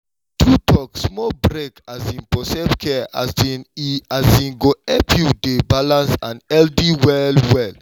true take small break um for self-care um e um go help you dey balanced and healthy well well.